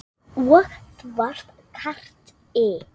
Og þú varst krati.